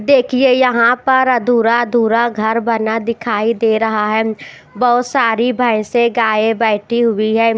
देखिए यहां पर अधूरा-अधूरा घर बना दिखाई दे रहा है। बहुत सारी भैंस गाय बैठी हुई है।